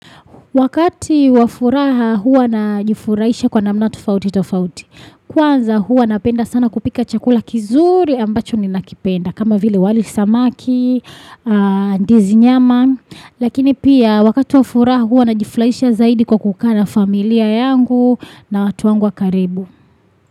Wakati wa furaha hua na jifurahisha kwa namna tofauti tofauti. Kwanza hua napenda sana kupika chakula kizuri ambacho ninakipenda. Kama vile wali, samaki, ndizi nyama. Lakini pia wakati wafuraha hua na jifurahisha zaidi kwa kukana familia yangu na watu wangu wa karibu.